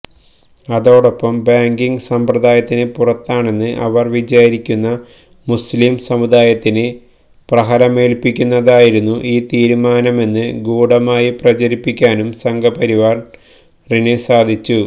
അതോടൊപ്പം ബാങ്കിംഗ് സമ്പ്രദായത്തിന് പുറത്താണെന്ന് അവര് വിചാരിക്കുന്ന മുസ്ലീം സമുദായത്തിന് പ്രഹരമേല്പ്പിക്കുന്നതായിരുന്നു ആ തീരുമാനമെന്ന് ഗൂഢമായി പ്രചരിപ്പിക്കാനും സംഘപരിവാറിന് സാധിച്ചു